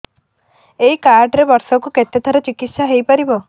ଏଇ କାର୍ଡ ରେ ବର୍ଷକୁ କେତେ ଥର ଚିକିତ୍ସା ହେଇପାରିବ